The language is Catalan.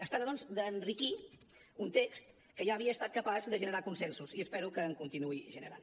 es tracta doncs d’enriquir un text que ja havia estat capaç de generar consensos i espero que en continuï generant